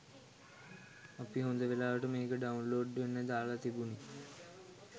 අපි හොඳ වෙලාවට මේක ඩවුන්ලෝඩ් වෙන්න දාල තිබුනේ